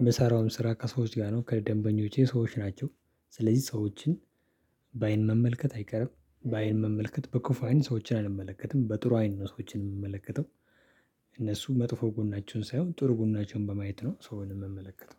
የምሳራውም ስራ ከሰዎች ጋር ነው ከ ደንበኞቼ ሰዎች ናቸው። ስለዚህ ሰዎችን በአይን መመልከት አይቀርም። በአይን መመልከት በክፉ አይን ሰዎችን አልመለከትም በጥሩ አይን ነው ሰዎችን የምመለከተው። እነሱ መጥፎ ጎናችሁን ሳይሆን ጥሩ ጎናችሁን በማየት ነው ሰውን የምመለከተው